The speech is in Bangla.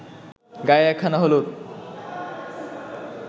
গায়ে একখানা হলুদ